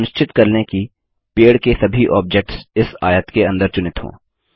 सुनिश्चित कर लें कि पेड़ के सभी ऑब्जेक्ट्स इस आयत के अंदर चुनित हों